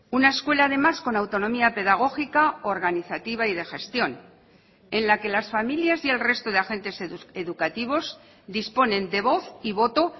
una escuela además con autonomía pedagógica organizativa y de gestión en la que las familias y el resto de agentes educativos disponen de voz y voto